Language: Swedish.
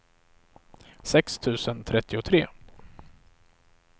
sex tusen trettiotre